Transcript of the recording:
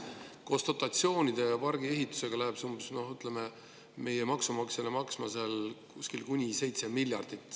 Koos dotatsioonidega ja pargi ehitusega läheb see meie maksumaksjale maksma kuni 7 miljardit eurot.